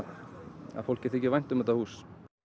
að fólki þyki vænt um þetta hús